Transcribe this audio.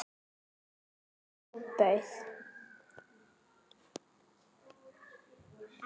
Manni ofbauð.